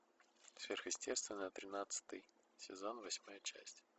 сверхъестественное тринадцатый сезон восьмая часть